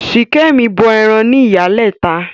Ṣìkẹ̀mi bọ ẹran ní Ìyálẹta.